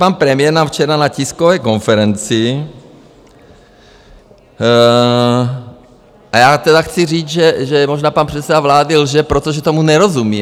Pan premiér nám včera na tiskové konferenci - a já tedy chci říct, že možná pan předseda vlády lže, protože tomu nerozumí.